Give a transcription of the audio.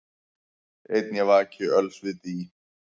Einn ég vaki öls við dý,